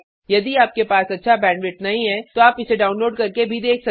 यदि आपके पास अच्छा बैंडविड्थ नहीं है तो आप इसे डाउनलोड करके देख सकते हैं